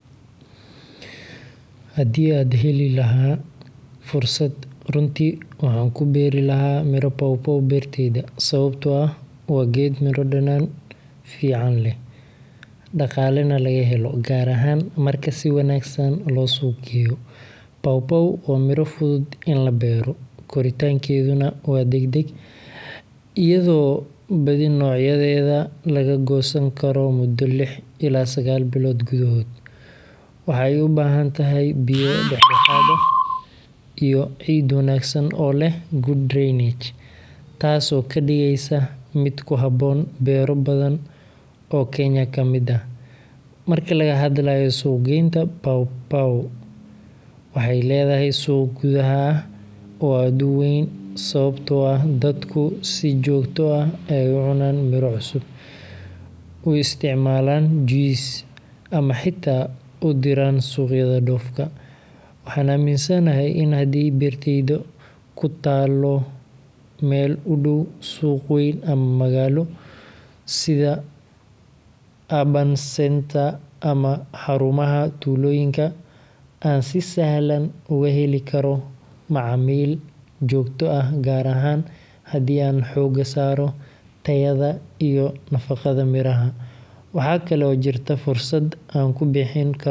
Haddii aan heli lahaa fursad, runtii waxaan ku beeri lahaa miro pawpaw beertayda, sababtoo ah waa geed miro dhadhan fiican leh, dhaqaalena laga helo, gaar ahaan marka si wanaagsan loo suuq geeyo. Pawpaw waa miro fudud in la beero, koritaankeeduna waa degdeg, iyadoo badi noocyadeeda laga goosan karo muddo lix ilaa sagaal bilood gudahood. Waxa ay u baahan tahay biyo dhexdhexaad ah iyo ciid wanaagsan oo leh good drainage, taas oo ka dhigaysa mid ku habboon beero badan oo Kenya ka mid ah. Marka laga hadlayo suuq-geynta, pawpaw waxay leedahay suuq gudaha ah oo aad u weyn sababtoo ah dadku si joogto ah ayay u cunaan miro cusub, u isticmaalaan juices, ama xitaa u diraan suuqyada dhoofka. Waxaan aaminsanahay in haddii beertayda ku taallo meel u dhow suuq weyn ama magaalo, sida urban centers ama xarumaha tuulooyinka, aan si sahlan uga heli karo macaamiil joogto ah, gaar ahaan haddii aan xooga saaro tayada iyo nadaafadda miraha. Waxaa kale oo jirta fursad aan ku bixin karo pawpaw.